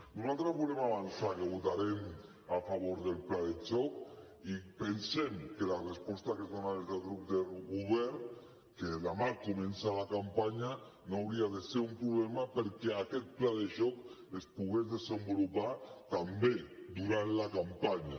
nosaltres volem avançar que votarem a favor del pla de xoc i pensem que la resposta que es dona des del grup del govern que demà comença la campanya no hauria de ser un problema perquè aquest pla de xoc es pogués desenvolupar també durant la campanya